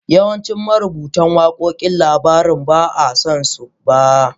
Yawancin marubutan wakokin labarin ba a san su ba.